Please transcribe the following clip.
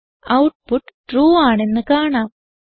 output true ആണെന്ന് കാണാം